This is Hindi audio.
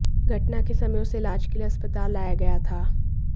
घटना के समय उसे इलाज के लिए अस्पताल लाया गया था